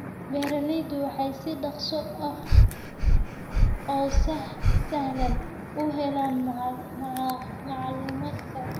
Beeraleydu waxay si dhakhso ah oo sahlan u helaan macluumaadka.